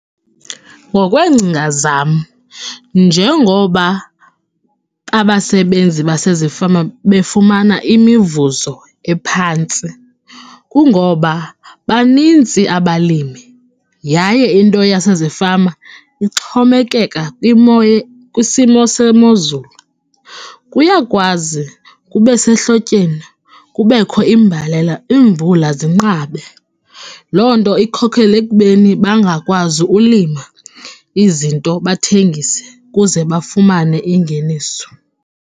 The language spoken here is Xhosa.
Ngokweencinga zam, njengoba abasebenzi basezifama befumana imivuzo ephantsi kungoba banintsi abalimi yaye into yasezifama ixhomekeka kwimo kwisimo sezulu. Kuyakwazi kube sehlotyeni kubekho imbalela, iimvula zinqabe, loo nto ikhokhele ekubeni bangakwazi ulima izinto bathengise ukuze bafumane ingeniso.